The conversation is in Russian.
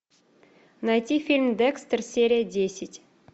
найти фильм декстер серия десять